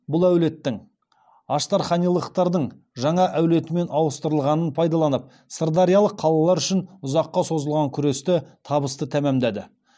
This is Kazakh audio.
бұл әулеттің аштарханилықтар дың жаңа әулетімен ауыстырылғанын пайдаланып сырдариялық қалалар үшін ұзаққа созылған күресті табысты тәмамдады